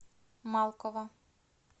малкова